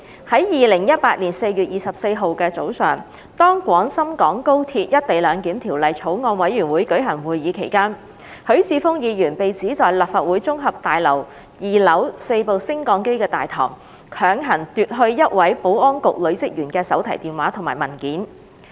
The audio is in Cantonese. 在2018年4月24日早上，當《廣深港高鐵條例草案》委員會舉行會議期間，許智峯議員被指在立法會綜合大樓2樓4部升降機大堂，強行奪去一位保安局女職員的手提電話及文件。